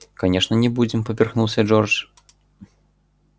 конечно не будем поперхнулся джордж